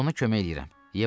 Mən də ona kömək eləyirəm.